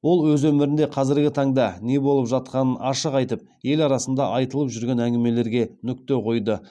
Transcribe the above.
ол өз өмірінде қазіргі таңда не болып жатқанын ашық айтып ел арасында айтылып жүрген әңгімелерге нүкте қойды